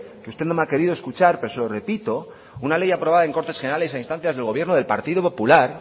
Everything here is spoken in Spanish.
que usted no me ha querido escuchar pero se lo repito una ley aprobadas en cortes generales a instancias del gobierno del partido popular